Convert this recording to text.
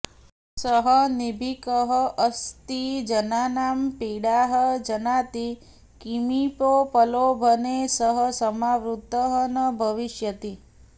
सः निर्भीकः अस्ति जनानां पीडाः जानाति किमपि प्रलोभने सः समावृतः न भविष्यति